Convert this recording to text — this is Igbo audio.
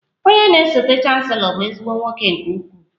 Onye na-esote chancelo bụ ezigbo nwoke nke ukwuu